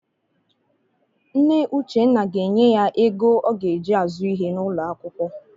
Nne Uchenna ga-enye ya ego ọ ga-eji azụ ihe n'ụlọakwụkwọ.